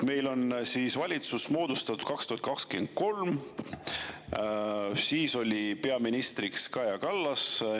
Meil on valitsus moodustatud 2023, siis oli peaministriks Kaja Kallas.